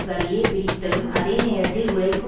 வழியே பிரித்தலும் அதே நேரத்தில் உழைக்கும்